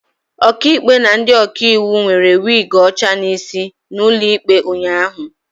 Ọkaikpe na ndị ọkaiwu nwere wig ọcha n'isi n'ụlọ ikpe ụnyahụ